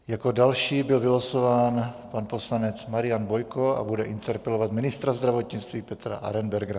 Jako další byl vylosován pan poslanec Marian Bojko a bude interpelovat ministra zdravotnictví Petra Arenbergera.